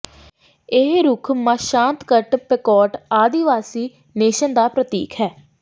ਇਹ ਰੁੱਖ Mashantucket Pequot ਆਦਿਵਾਸੀ ਨੈਸ਼ਨ ਦਾ ਪ੍ਰਤੀਕ ਹੈ